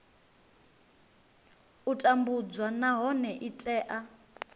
u tambudzwa nahone i tea